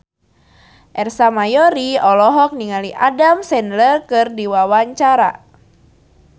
Ersa Mayori olohok ningali Adam Sandler keur diwawancara